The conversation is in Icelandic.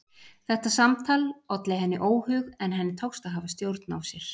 Þetta samtal olli henni óhug en henni tókst að hafa stjórn á sér.